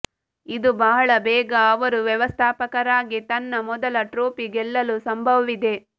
ಇದು ಬಹಳ ಬೇಗ ಅವರು ವ್ಯವಸ್ಥಾಪಕರಾಗಿ ತನ್ನ ಮೊದಲ ಟ್ರೋಫಿ ಗೆಲ್ಲಲು ಸಂಭವವಿದೆ